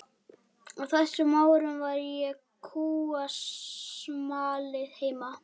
Á þessum árum var ég kúasmali heima.